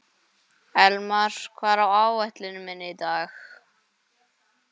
Elmar, hvað er á áætluninni minni í dag?